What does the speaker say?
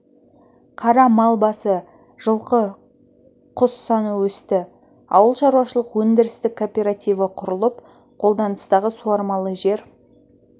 қара мал басы жылқы құс саны өсті ауыл шаруашылық өндірістік кооперативі құрылып қолданыстағы суармалы жер